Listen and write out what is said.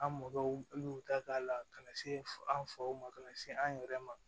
An mɔgɔw y'u ta k'a la ka na se an faw ma ka na se an yɛrɛ ma